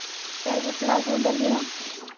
я его сразу удалила